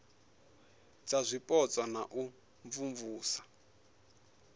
dza zwipotso na u imvumvusa